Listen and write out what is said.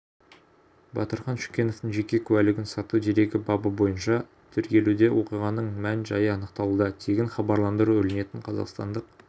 батырхан шүкеновтың жеке куәлігін сату дерегі бабы бойынша тергелуде оқиғаның мән-жайы анықталуда тегін хабарландыру ілінетін қазақстандық